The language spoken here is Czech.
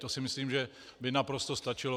To si myslím, že by naprosto stačilo.